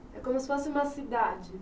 É como se fosse uma cidade?